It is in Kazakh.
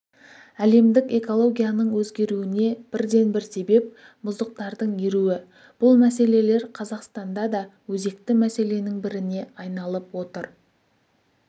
әлемдік экологияның өзгеруіне бірден-бір себеп мұздықтардың еруі бұл мәселелер қазақстанда да өзекті мәселенің біріне айналып отыр